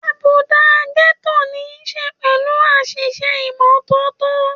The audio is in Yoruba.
Àbùdá Gẹ́tò ní ṣe pẹ̀lú àìṣe ìmọ́tótó